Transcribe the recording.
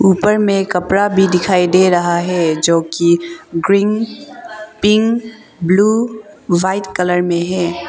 ऊपर में कपड़ा भी दिखाई दे रहा है जो कि green pink blue white colour में है।